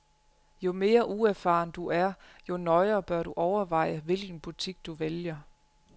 Jo mere uerfaren du er, jo nøjere bør du overveje, hvilken butik du vælger.